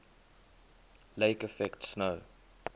lake effect snow